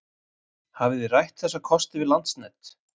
Hafið þið rætt þessa kosti við Landsnet?